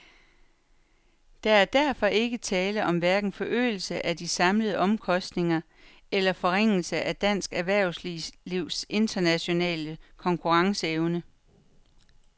Der er derfor ikke tale om hverken forøgelse af de samlede omkostninger eller forringelse af dansk erhvervslivs internationale konkurrenceevne.